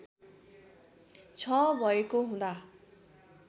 छ भएको हुँदा